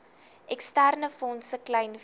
eksterne fondse kleinvee